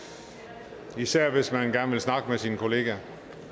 det gælder især hvis man gerne vil snakke med sine kolleger